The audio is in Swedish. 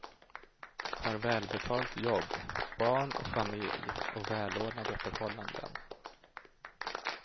Har välbetalt jobb, barn och familj och välordnade förhållanden.